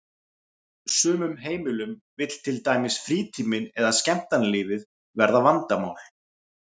sumum heimilum vill til dæmis frítíminn eða skemmtanalífið verða vandamál.